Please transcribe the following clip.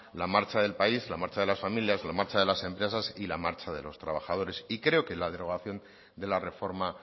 la marcha del país la marcha de las familias la marcha de las empresas y la marcha de los trabajadores y creo que la derogación de la reforma